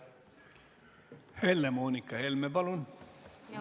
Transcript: Helle-Moonika Helme, palun!